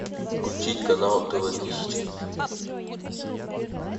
включить канал тв тысяча